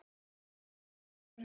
frænku sinni í tvö sumur.